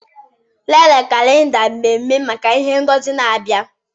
Lelee kalenda mmemme maka ihe ngosi na-abịa.